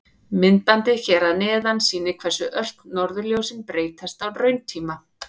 Myndbandið hér að neðan sýnir hversu ört norðurljósin breytast á rauntíma.